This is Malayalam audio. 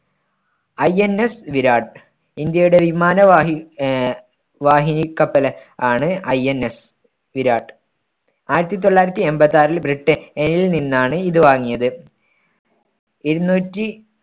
INS വിരാട്. ഇന്ത്യയുടെ വിമാനവാഹി ആഹ് വാഹിനി കപ്പല് ആണ് INS വിരാട്. ആയിരത്തി തൊള്ളായിരത്തി എൺപത്താറിൽ ബ്രിട്ട~നിൽ നിന്നാണ് ഇത് വാങ്ങിയത്. ഇരുന്നൂറ്റി